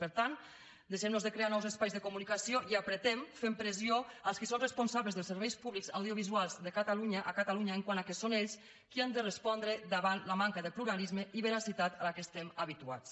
per tant deixem nos de crear nous espais de comunicació i apretem fem pressió als qui són responsables dels serveis públics audiovisuals de catalunya a catalunya quant al fet que són ells qui han de respondre davant la manca de pluralisme i veracitat a què estem habituats